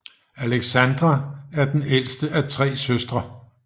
Alexandra er den ældste af tre søstre